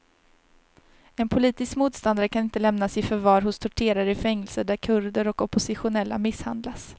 En politisk motståndare kan inte lämnas i förvar hos torterare i fängelser där kurder och oppositionella misshandlas.